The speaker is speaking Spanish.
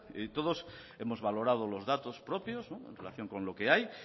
y todos hemos valorado los datos propios en relación con lo que hay